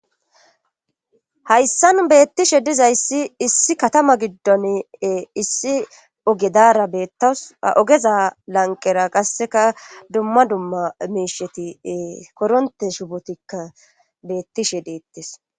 hayssan beettishe dizayssi issi katama giddon issi oge dara bettawus ha ogeza lanqera qasseka dumma dumma miisheti koronte shubotikka beettishe deettes